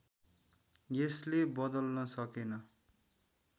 यसले बदल्न सकेन